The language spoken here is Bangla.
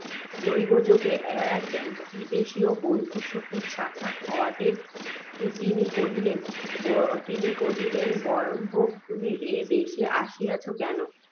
দৈব্য যোগে এক বিদেশীয় বন্ধুর সহিত সাক্ষাৎ হওয়াতে, তিনি কহিলেন, বয়স্য! তুমি এ দেশে আসিয়াছ কেন?